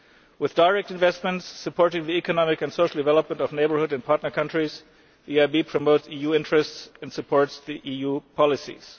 With direct investments supporting the economic and social development of neighbourhood and partner countries, the EIB promotes EU interests and supports EU policies.